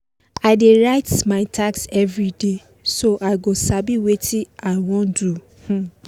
i dey write my task everyday so i go sabi watin i wan do um